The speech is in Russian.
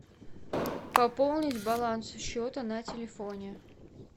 пополнить баланс счета на телефоне